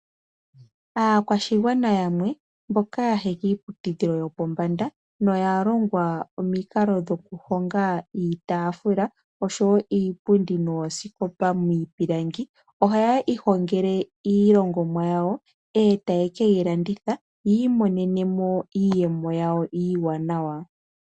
Aakwashigwana yamwe mboka yaya kiiputudhilo yopombanda noya longwa omikalo dhokuhonga iitaafula, oshowo iipundi nooskopa miipilangi ohaya ihongele iilongomwa yawo. Etaya keyi landitha opo yi imonene mo iiyemo yawo iiwanawa.